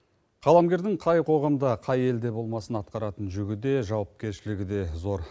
қаламгердің қай қоғамда қай елде болмасын атқаратын жүгі де жауапкершілігі де зор